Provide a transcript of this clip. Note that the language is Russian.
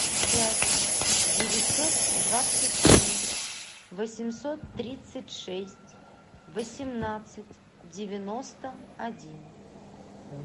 пять девятьсот двадцать три восемьсот тридцать шесть восемнадцать девяносто один